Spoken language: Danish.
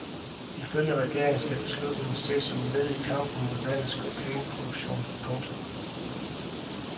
Ifølge regeringen skal beslutningen ses som led i kampen mod landets kokainproduktion. punktum